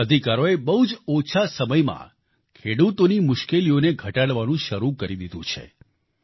આ અધિકારોએ બહુ જ ઓછા સમયમાં ખેડૂતોની મુશ્કેલીઓને ઘટાડવાનું શરૂ કરી દીધું છે